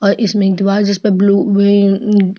और इसमें द्वार जिसमें ब्लू वेन --